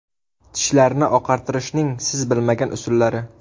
Tishlarni oqartirishning siz bilmagan usullari.